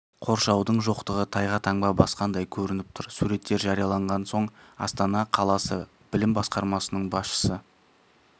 қоршаудың жоқтығы тайға таңба басқандай көрініп тұр суреттер жарияланған соң астана қаласы білім басқармасының басшысы